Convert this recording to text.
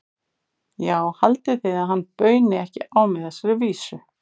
Já, haldið þið að hann bauni ekki á mig þessari vísu?